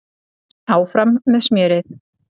Áfram með smjörið.